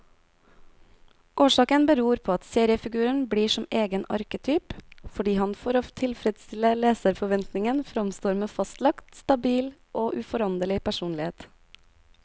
Årsaken beror på at seriefiguren blir som egen arketyp, fordi han for å tilfredstille leserforventningen framstår med fastlagt, stabil og uforanderlig personlighet.